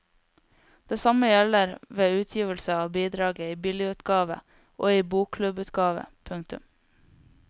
Det samme gjelder ved utgivelse av bidraget i billigutgave og i bokklubbutgave. punktum